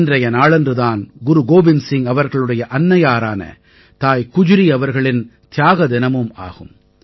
இன்றைய நாளன்று தான் குரு கோவிந்த் சிங் அவர்களுடைய அன்னையாரான தாய் குஜ்ரி அவர்களின் தியாக தினமும் ஆகும்